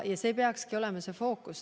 See peakski olema fookus.